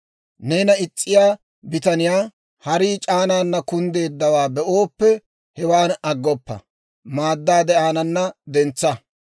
Neena is's'iyaa bitaniyaa harii c'aanaana kunddeeddawaa be'ooppe, hewaan aggoppa; maaddaade aanana dentsa.